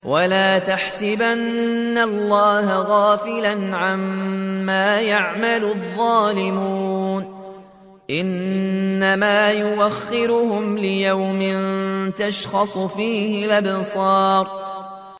وَلَا تَحْسَبَنَّ اللَّهَ غَافِلًا عَمَّا يَعْمَلُ الظَّالِمُونَ ۚ إِنَّمَا يُؤَخِّرُهُمْ لِيَوْمٍ تَشْخَصُ فِيهِ الْأَبْصَارُ